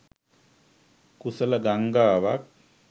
කුසල ගංගාවක්